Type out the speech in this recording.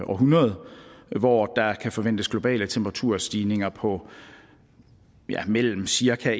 århundrede hvor der kan forventes globale temperaturstigninger på ja mellem cirka